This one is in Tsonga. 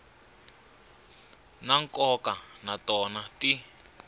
ta nkoka na tona ti